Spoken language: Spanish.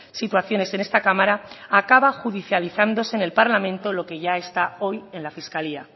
situaciones en esta cámara acaba judicializándose en el parlamento lo que ya está hoy en la fiscalía